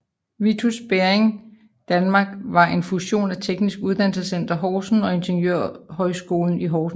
Vitus Bering Danmark var en fusion af Teknisk Uddannelsescenter Horsens og Ingeniørhøjskolen i Horsens